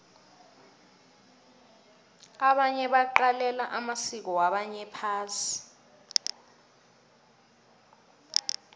abanye baqalela amasiko wabanye phasi